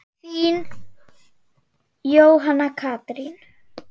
Þín, Jóhanna Katrín.